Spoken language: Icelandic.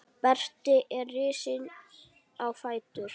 Berti er risinn á fætur.